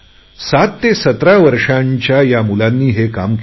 सात ते सतरा वर्षांच्या या मुलांनी हे काम केले